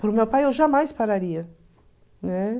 Para o meu pai eu jamais pararia, né?